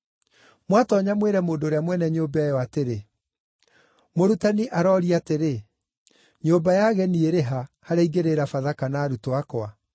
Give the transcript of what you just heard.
Mwatoonya mwĩre mũndũ ũrĩa mwene nyũmba ĩyo atĩrĩ, ‘Mũrutani aroria atĩrĩ: Nyũmba ya ageni ĩrĩ ha, harĩa ingĩrĩĩra Bathaka na arutwo akwa?’